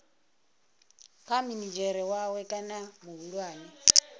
kha minidzhere wawe kana muhulwane